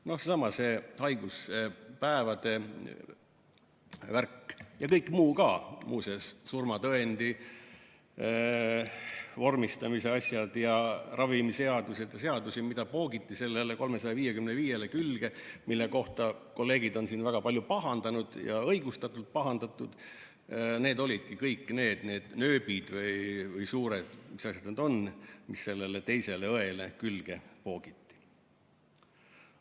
Seesama haiguspäevade värk ja kõik muu ka, muu seas surmatõendi vormistamise asjad ja ravimiseadus ja seadused, mida poogiti sellele 355-le külge, mille kohta kolleegid on siin väga palju pahandanud ja õigustatult pahandanud, need olidki kõik need nööbid või mis suured asjad need on, mis sellele teisele õele külge poogiti.